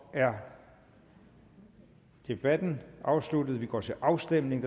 er debatten afsluttet og vi går til afstemning